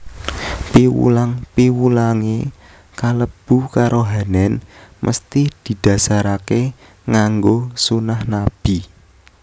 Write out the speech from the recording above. Piwulang piwulangé kalebu karohanèn mesthi didhasaraké nganggo sunah Nabi